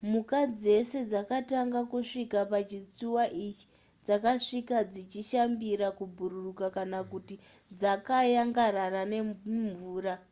mhuka dzese dzakatanga kusvika pachitsuwa ichi dzakasvika dzichishambira kubhururuka kana kuti dzakayangarara nemumvura